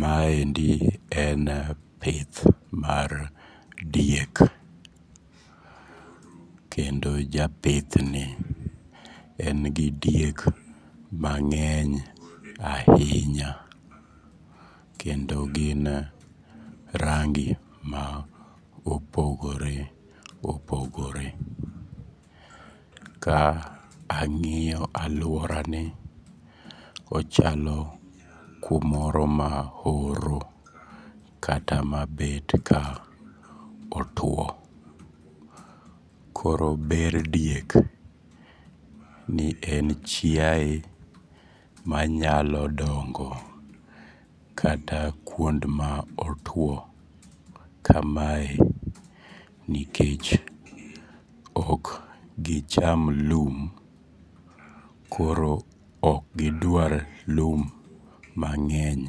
Ma endi en pith mar diek, kendo japithni en gi diek mang'eny ainya kendo gin rangi maopogore opogore. Ka ang'iyo aluorani kochalo kumoro ma oro kata mabet ka otuo. Koro ber diek ni en chiae manyalo dongo kata kuond ma otuo kamae nikech okgicham lum. Koro okgidwar lum mang'eny